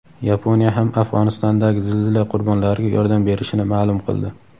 Yaponiya ham Afg‘onistondagi zilzila qurbonlariga yordam berishini maʼlum qildi.